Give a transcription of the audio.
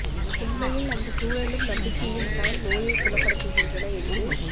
உண்மையில் அந்த சூழலும் நம்பிக்கையும் தான் நோயைக் குணப்படுத்துகின்றன என்று